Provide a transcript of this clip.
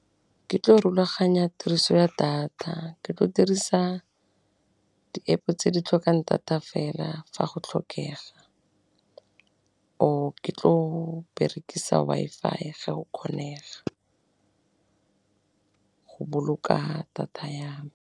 Ke tlo go rulaganya tiriso ya data, ke tlo dirisa di App tse di tlhokang data fela fa go tlhokega, or ke tlo berekisa Wi-Fi ga go kgonega go boloka data ya .